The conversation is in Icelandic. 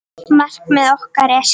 Markmið okkar er skýrt.